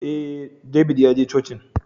Eh, David ya je cocin